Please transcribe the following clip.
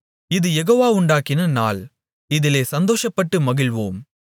இது யெகோவா உண்டாக்கின நாள் இதிலே சந்தோஷப்பட்டு மகிழ்வோம்